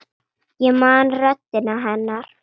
Ég man röddina hennar.